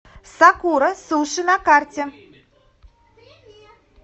сакура суши на карте